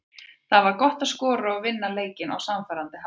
Það var gott að skora og vinna leikinn á sannfærandi hátt.